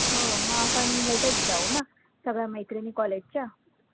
हो मग आपण भेटतं जाऊ ना, सगळ्या मैत्रिणी college च्या